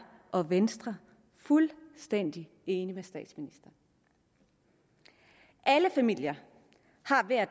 og venstre fuldstændig enige med statsministeren alle familier har